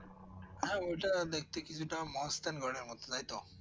হ্যাঁ ওটা দেখতে কিছুটা মহাস্থানগড় এর মতো তাইতো